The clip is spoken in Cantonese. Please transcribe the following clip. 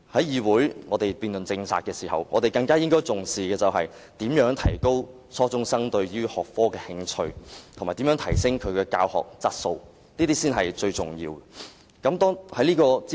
議會辯論政策時，應重視如何提高初中生對這學科的興趣，以及如何提升教學質素，這才是最重要的。